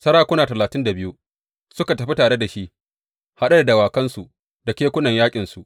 Sarakuna talatin da biyu suka tafi tare da shi haɗe da dawakansu da kekunan yaƙinsu.